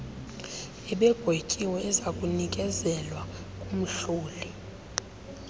ebegwetyiwe ezakunikezelwa kumhloli